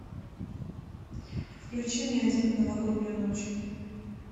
включи мне один в новогоднюю ночь